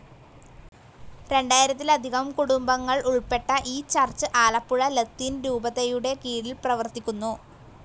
രണ്ടായിരത്തിലധികം കുടുംബങ്ങൾ ഉൾപ്പെട്ട ഈ ചർച്ച്‌ ആലപ്പുഴ ലത്തീൻ രൂപതയുടെ കീഴിൽ പ്രവർത്തിക്കുന്നു.